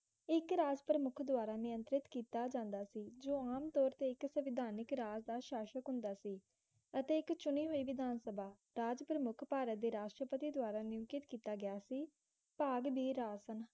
ਇੱਕ ਰਾਸ਼ਟਰ ਮੁਖ ਦੁਆਰਾ ਨਿਯੰਤਰਿਤ ਕੀਤਾ ਜਾਂਦਾ ਸੀ ਜੋ ਆਮ ਤੋਰ ਤੇ ਇਕ ਸਵਿਧਾਨਿਕ ਰਾਜ ਦਾ ਸ਼ਾਸਕ ਹੁੰਦਾ ਸੀ ਅਤੇ ਇੱਕ ਚੁਣੀ ਹੋਈ ਵਿਧਾਨ ਸਭਾ ਰਾਜ ਪ੍ਰਮੁੱਖ ਭਾਰਤ ਦੇ ਰਾਸ਼ਟਰਪਤੀ ਦੁਆਰਾ ਨਿਮਿਤ ਕੀਤਾ ਗਿਆ ਸੀ ਭਾਗ ਦੀ ਰਾਸਨ